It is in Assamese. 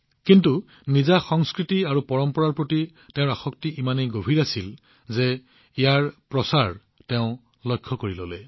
কিন্তু তেওঁৰ সংস্কৃতি আৰু পৰম্পৰাৰ প্ৰতি আসক্তি ইমানেই গভীৰ আছিল যে তেওঁ ইয়াক তেওঁৰ লক্ষ্য কৰি লৈছিল